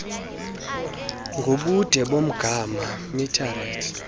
ngobude bomgama metered